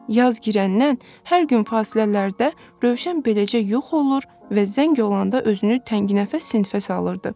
Yaz girəndən hər gün fasilələrdə Rövşən beləcə yox olur və zəng olanda özünü tənginəfəs sinifə salırdı.